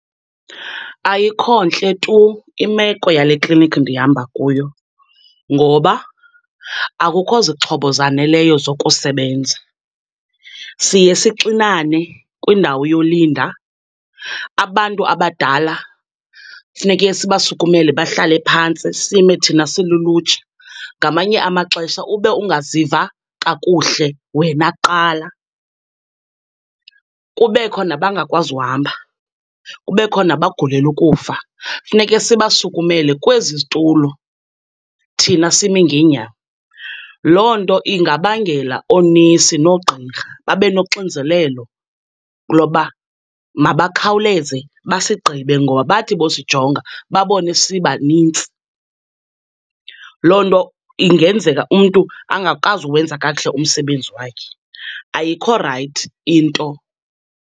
Ayikho ntle tu imeko yale kliniki ndihamba kuyo, ngoba akukho zixhobo zaneleyo zokusebenza. Siye sixinane kwindawo yolinda, abantu abadala funeke sibasukumele bahlale phantsi, sime thina silulutsha, ngamanye amaxesha ube ungaziva kakuhle wena kuqala. Kubekho nabangakwazi uhamba, kubekho nabagulela ukufa, kufuneke sibasukumele kwezi zitulo, thina sime ngeenyawo. Loo nto ingabangela oonesi noogqirha babe noxinzelelo loba mabakhawuleze basigqibe ngoba bathi bosijonga babone sibanintsi, loo nto ingenzeka umntu angakwazi ukuwenza kakuhle umsebenzi wakhe. Ayikho rayithi into.